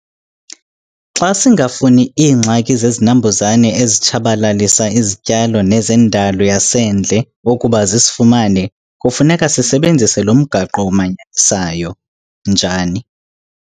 Xa singafuni zingxaki zezinambuzane ezitshabalalisa izityalo nezendalo yasendle ukuba zisifumane kufuneka sisebenzise lo mgaqo umanyanisayo, njani?